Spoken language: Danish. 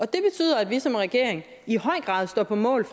det betyder at vi som regering i høj grad står på mål